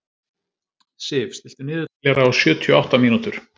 Sif, stilltu niðurteljara á sjötíu og átta mínútur.